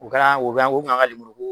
O kɛra o be yan o kun y'an ka lemuruko